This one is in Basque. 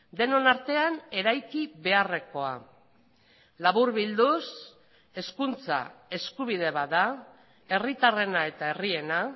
denon artean eraiki beharrekoa laburbilduz hezkuntza eskubide bat da herritarrena eta herriena